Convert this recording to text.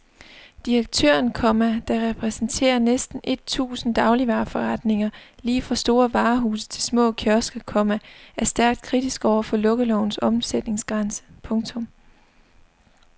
Direktøren, komma der repræsenterer næsten et tusind dagligvareforretninger lige fra store varehuse til små kiosker, komma er stærkt kritisk over for lukkelovens omsætningsgrænse. punktum